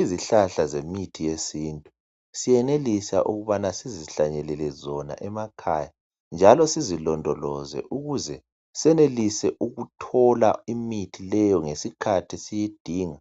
Izihlahla zemithi yesintu siyenelisa ukubana ukuthi sizihlanyelele zona emakhaya njalo sizilondoloze ukuze senelise ukuthola imithi leyo ngesikhathi siyidinga